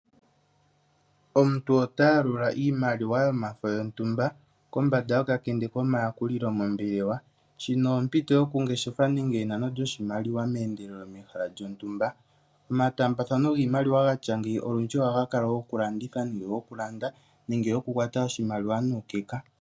Omuntu ota yalula iimaliwa yomafo yontumba kombanda yokakende komayakulilo mombelewa. Shino ompito yoku ngeshefa nenge yenano lyo shimaliwa meendelelo mehala lyontumba. Omataambathano giimaliwa gatya ngeyi olundji ohaga kala goku landitha, nenge gokulanda nenge goku kwata oshimaliwa nuukeka.